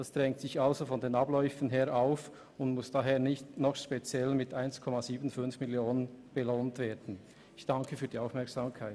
Das drängt sich also angesichts der Abläufe ohnehin auf und muss nicht speziell mit 1,75 Mio. Franken belohnt werden.